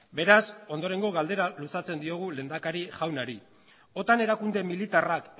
beraz ondorengo galdera luzatzen diogu lehendakari jaunari otan erakunde militarrak